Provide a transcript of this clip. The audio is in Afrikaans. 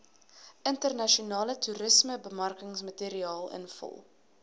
internasionale toerismebemarkingsmateriaal invul